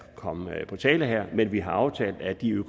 komme på tale her men vi har aftalt at de